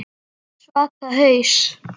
Svaka haus.